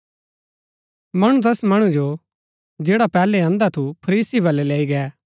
मणु तैस मणु जो जैडा पैहलै अंधा थू फरीसी बलै लैई गै